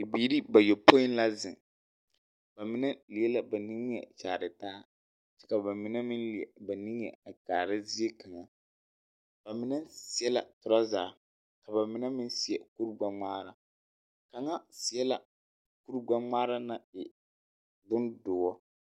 Bibiiri bayɔpoi la zeŋ, ba mine leɛ la ba nime kyaare taa, ka ba mine meŋ leɛ ba nimie a kaara zie kaŋa. Ba mine seɛ la teraza, ka ba mine meŋ seɛ kurigbɛŋaara. Kaŋa seɛ la kurigbɛŋmaa naŋ e bondoɔ